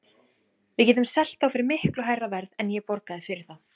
Við getum selt þá fyrir miklu hærra verð en ég borgaði fyrir þá.